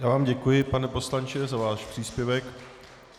Já vám děkuji, pane poslanče, za váš příspěvek.